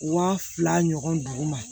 Waa fila ɲɔgɔn dugu ma